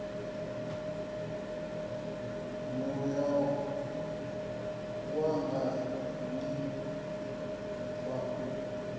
muya wanga ni pfa u